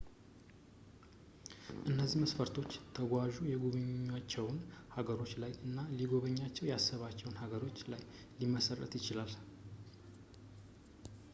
እነዚህ መስፈርቶች ተጓዙ የጉበኛቸው ሃገሮች ላይ እና ሊጎበኛቸው ያሰባቸው ሀገራት ላይ ሊመሠረት ይችላል